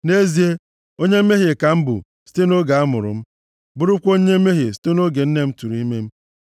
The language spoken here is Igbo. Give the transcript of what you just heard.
Nʼezie, onye mmehie ka m bụ site nʼoge amụrụ m; bụrụkwa onye mmehie site nʼoge nne m tụrụ ime m.